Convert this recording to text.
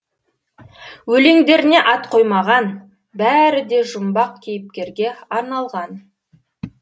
өлеңдеріне ат қоймаған бәрі де жұмбақ кейіпкерге арналған